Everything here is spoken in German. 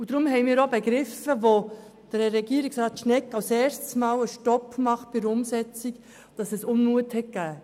Deshalb verstehen wir den Unmut, der entstanden ist, als Herr Regierungsrat Schnegg bei der Umsetzung zuerst einmal einen Stopp einlegte.